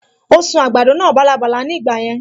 Ó sun àgbàdo náà bálabàla ní ìgbà yẹn